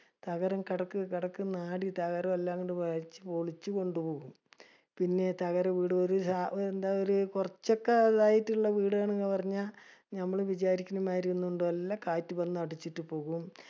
തകരം കടക്ക് കടക്ക് ന്ന് നാല് തകാരോം ഇല്ലംകൊണ്ട് വലിച്ച പൊളിച്ച കൊണ്ട് പോകും. പിന്നെ തകര വീടൊരു രാ എന്താഒരു കുറച്ചൊക്കെ ഇതായിട്ടുള്ള വീടാണ് എന്ന് പറഞ്ഞ ഞമ്മള് വിചാരിക്കണ മാതിരി ഒന്നും അല്ല. എല്ലാം കാറ്റ് വന്ന് അടിച്ചിട്ട് പോകും.